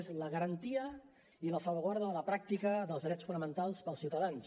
és la garantia i la salvaguarda de la pràctica dels drets fonamentals per als ciutadans